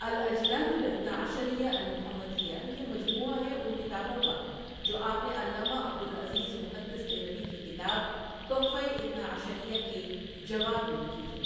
الأجناد الإثنا عشريۃ المحمديۃ، یہ مجموعہ ہے ان کتابوں کا جو آپ نے علامہ عبد العزیز محدث دہلوی کی کتاب تحفۂ اثنا عشریہ کے جواب میں لکھی تھیں ـ